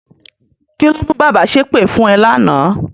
Kí ló mú bàbá ṣépè fún ẹ lánàá?